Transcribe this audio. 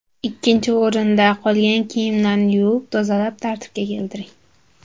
Ikkinchi o‘rinda, qolgan kiyimlarni yuvib, tozalab, tartibga keltiring.